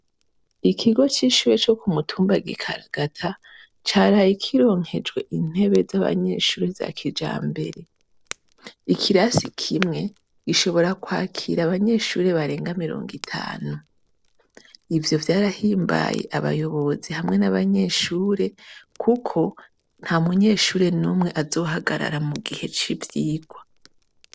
Ikigo cishure cokumutumba gikaragata caraye kironkejwe intebe zabanyeshure zakijambere ikirasi kimwe gishobora kwakira abanyeshure barenga mwirongo itanu ivyo vyarahimbaye abayobozi hamwe nabanyeshure kuko ntamunyeshure numwe azohagarara mugihe civyirwa